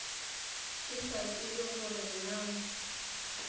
ke sa tsebe gore na